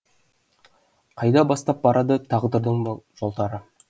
қайда бастап барады тағдырдың бұ жолдары